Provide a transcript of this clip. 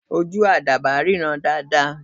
Ojú àdàbà ríran dáadáa.